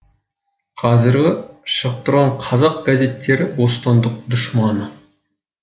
қазіргі шығып тұрған қазақ газеттері бостандық дұшманы